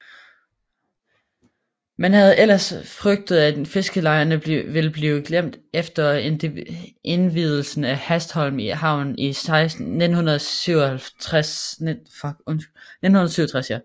Man havde ellers frygtet at fiskerlejerne ville blive glemt efter indvielsen af Hanstholm Havn i 1967